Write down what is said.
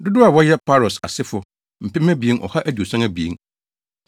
Dodow a wɔyɛ 1 Paros asefo 2 2,172 1